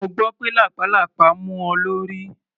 Mo gbọ́ pé lápàlàpá mú ọ lórí.